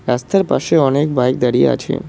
রাস্তার পাশে অনেক বাইক দাঁড়িয়ে আছে।